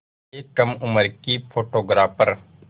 एक कम उम्र की फ़ोटोग्राफ़र